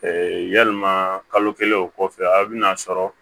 yalima kalo kelen o kɔfɛ a bɛ na sɔrɔ